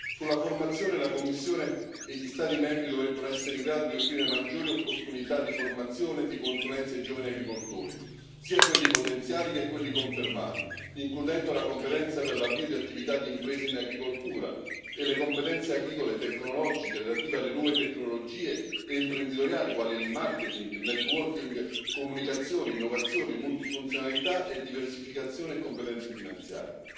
Sulla formazione, la Commissione e gli Stati membri dovrebbero essere in grado di offrire maggiori opportunità di formazione e di consulenza ai giovani agricoltori, sia quelli potenziali che quelli confermati, includendo la competenza per l'avvio di attività d'impresa in agricoltura e le competenze agricole e tecnologiche relative alle nuove tecnologie e imprenditoriali, quali marketing, networking, comunicazione, innovazione, multifunzionalità e diversificazione e competenze finanziare.